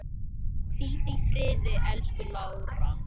Hvíldu í friði, elsku Lára.